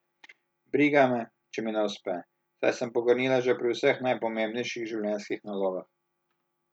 Briga me, če mi ne uspe, saj sem pogrnila že pri vseh najpomembnejših življenjskih nalogah.